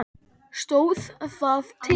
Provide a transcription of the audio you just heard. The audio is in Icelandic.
Stóð það til?